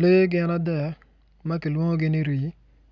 Lee gin adek ma kilwongogi ni rii